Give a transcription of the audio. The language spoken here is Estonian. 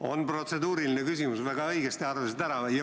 On protseduuriline küsimus, väga õigesti arvasid ära.